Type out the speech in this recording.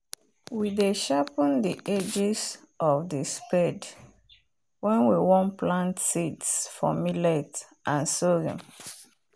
we dey sharpen the edges of the spade when we won plant seeds for millet and sorghum.